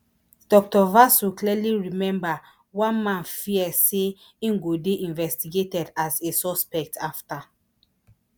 dr vasu clearly remember one man fear say im go dey investigated as a suspect afta